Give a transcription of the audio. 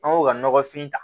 An k'o ka nɔgɔfin ta